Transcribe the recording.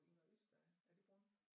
Inger Øster er er det Brund